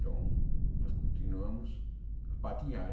Então, nós continuamos a patinhar.